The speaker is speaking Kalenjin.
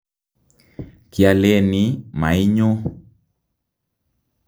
kialeni mainyo